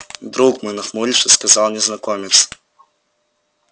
друг мой нахмурившись сказал незнакомец